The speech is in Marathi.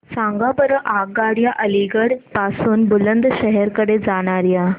सांगा बरं आगगाड्या अलिगढ पासून बुलंदशहर कडे जाणाऱ्या